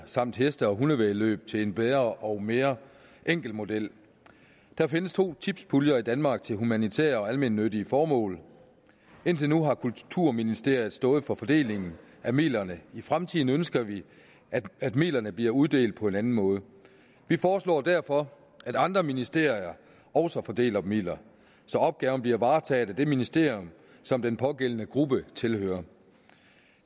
samt heste og hundevæddemål til en bedre og mere enkel model der findes to tipspuljer i danmark til humanitære og almennyttige formål indtil nu har kulturministeriet stået for fordelingen af midlerne i fremtiden ønsker vi at midlerne bliver uddelt på en anden måde vi foreslår derfor at andre ministerier også fordeler midler så opgaven bliver varetaget af det ministerium som den pågældende gruppe tilhører